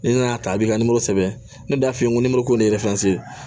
Ni nana ta a b'i ka nimoro sɛbɛn ne y'a f'i ye n ko ko ne